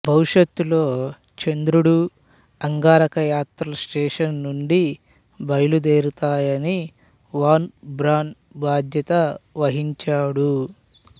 భవిష్యత్తులో చంద్రుడు అంగారక యాత్రలు స్టేషన్ నుండి బయలుదేరతాయని వాన్ బ్రాన్ బాద్యత వహించాడు